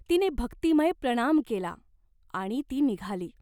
तिने भक्तिमय प्रणाम केला, आणि ती निघाली.